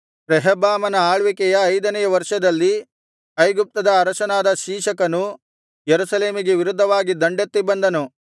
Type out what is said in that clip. ರೆಹಬ್ಬಾಮನ ಆಳ್ವಿಕೆಯ ಐದನೆಯ ವರ್ಷದಲ್ಲಿ ಐಗುಪ್ತದ ಅರಸನಾದ ಶೀಶಕನು ಯೆರೂಸಲೇಮಿಗೆ ವಿರುದ್ಧವಾಗಿ ದಂಡೆತ್ತಿ ಬಂದನು